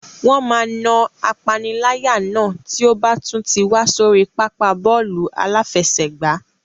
Wọ́n máa na apaniláyà náà tí ó bá tún ti wá sórí pápá bọ́ọ̀lù aláfẹsẹ̀gbá.